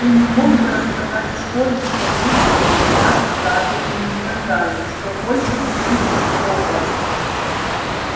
ты не мог бы рассказать в школе что дурсли меня заперли и сказали что больше не пустят в хогвартс